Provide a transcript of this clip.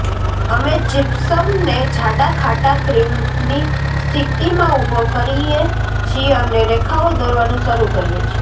અમે જિપ્સમને જાડા ખાટા ક્રીમની સ્થિતિમાં ઉભો કરીએ છીએ અને રેખાઓ દોરવાનું શરૂ કરીએ છીએ